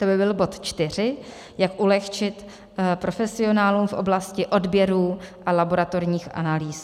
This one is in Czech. To by byl bod čtyři, jak ulehčit profesionálům v oblasti odběrů a laboratorních analýz.